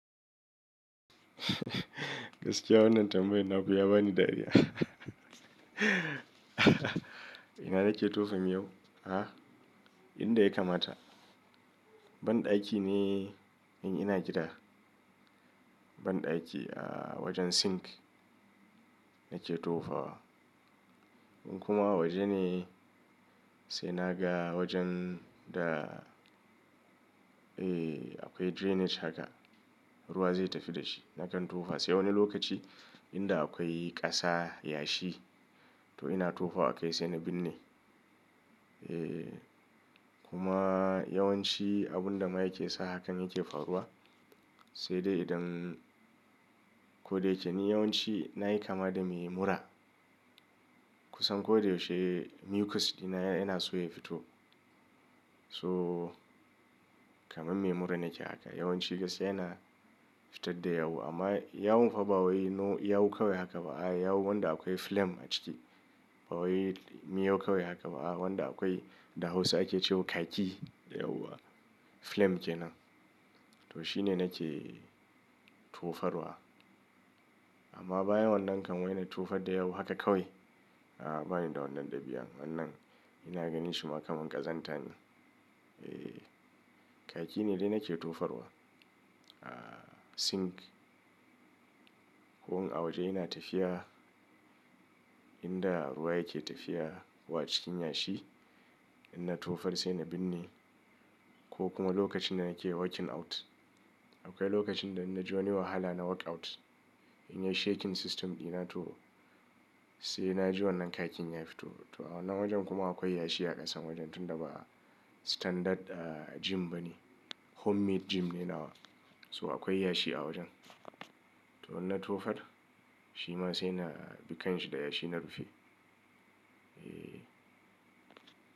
Gaskiya wannan tambayar naku ya bani dariya. Ina nake tofa miyau? Ah, inda ya kamata. Ban ɗaki ne, in ina gida. Ban ɗaki, ah, wajen sink nake tofa wa. In kuma a waje ne, sai na ga wajen da eh akwai drainage haka, ruwa zai tafi da shi. Nakan tofa sai wani lokaci inda akwai ƙasa, yashi to ina tofa a kai sai na binne. Eh kuma yawanci abun da ma yake sa hakan yake faruwa sai dai idan, ko da yake ni yawanci nayi kama da me mura. Kun san ko da yaushe mucus dina yana so ya fito. So kamar me mura nake haka. Yawanci gaskiya yana fitar da yawu, amma yawun fa wai no yawu kawai haka ba a, yawu wanda akwai phlegm a ciki. Babba wai miyau kawai haka ba a wanda akwai da Hausa ake cewa khaki dayawa. Phlegm kenan. To shine nake tofarwa. Amma bayan wannan kam wai na tofar da yawu haka kawai A ba ni da wannan dabi'an. Wannan, ina ganin shi ma kamar ƙazanta ne. Eh, khaki ne dai nake tofarwa. Ah sink, ko wani a waje yana tafiya inda ruwa yake tafiya wa cikin yashi. Inna tofar sai na binne ko kuma lokacin da nake working out. Akwai lokacin da in naji wani wahala na workout. In yi shaking system dina to sai na ji wannan khakin ya fito. Ba wai miyau kawai haka ba, a wanda akwai da Hausa ake cewa khaki dayawa. Phlegm kenan. To shine nake tofarwa. Amma bayan wannan kan wai na tofar da yawu haka kawai.